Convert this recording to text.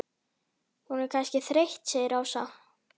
Hún er kannski þreytt segir Ása.